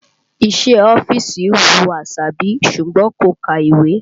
Iṣẹ́ ọ́fíìsì wù Àṣàbí ṣùgbọ́n kò ka ìwé